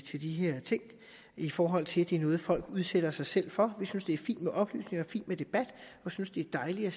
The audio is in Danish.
til de her ting i forhold til at det er noget folk udsætter sig selv for vi synes det er fint med oplysning og fint med debat og synes det er dejligt at